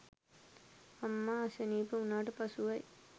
අම්මා අසනීප වූණාට පසුවයි